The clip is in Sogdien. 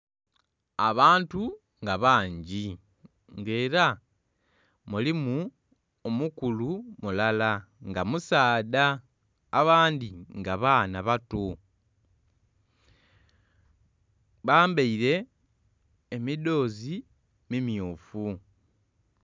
Abantu nga bangi nga era mulimu omukulu mulala nga musaadha, abandhi nga baana bato. Bambaile emidhoozi mimyufu.